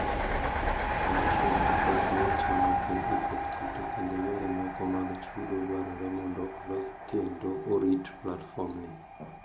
Commercial approach ma ochan ok en effective to kendo yore moko mag chudo dwarore mondo olos kendo orit platform ni